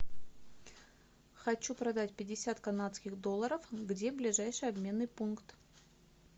хочу продать пятьдесят канадских долларов где ближайший обменный пункт